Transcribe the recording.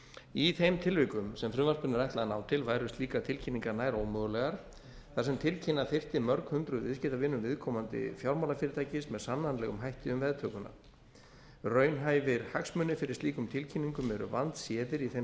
í þeim tilvikum sem frumvarpinu er ætlað að ná til væru slíkar tilkynningar nær ómögulegar þar sem tilkynna þyrfti mörg hundruð viðskiptavinum viðkomandi fjármálafyrirtækis með sannanlegum hætti um veðtökuna raunhæfir hagsmunir fyrir slíkum tilkynningum eru vandséðir í þeim